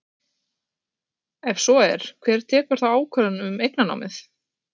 Ef svo er, hver tekur þá ákvörðun um eignarnámið?